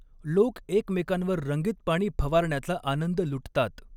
लोक एकमेकांवर रंगीत पाणी फवारण्याचा आनंद लुटतात.